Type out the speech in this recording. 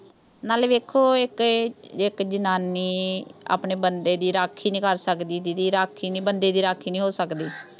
ਨਾਲੇ ਦੇਖੋ। ਇਹ, ਇੱਕ ਜਨਾਨੀ ਆਪਣੇ ਬੰਦੇ ਦੀ ਰਾਖੀ ਨੀਂ ਕਰ ਸਕਦੀ didi ਰਾਖੀ ਨੀਂ, ਬੰਦੇ ਦੀ ਰਾਖੀ ਨੀਂ ਹੋ ਸਕਦੀ।